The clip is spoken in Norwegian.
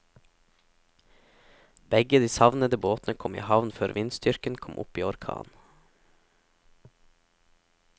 Begge de savnede båtene kom i havn før vindstyrken kom opp i orkan.